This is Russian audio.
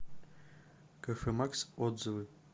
кафэмакс отзывы